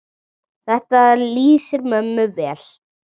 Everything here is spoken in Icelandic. Þetta lýsir mömmu vel.